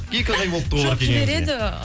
екі ақ ай болыпты ғой барып келгеніңізге жібереді